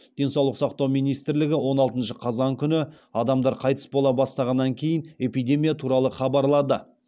денсаулық сақтау министрлігі он алтыншы қазан күні адамдар қайтыс бола бастағаннан кейін эпидемия туралы хабарлады